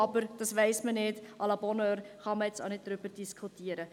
Aber dies weiss man nicht, à la bonheur, man kann jetzt auch nicht darüber diskutieren.